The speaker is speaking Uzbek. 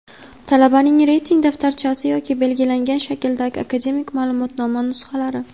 Talabaning reyting daftarchasi yoki belgilangan shakldagi akademik ma’lumotnoma nusxalari;.